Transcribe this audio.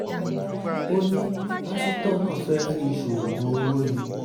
ó ní pásítọ̀ náà fẹ́ẹ́ fi í ṣoògùn owó ni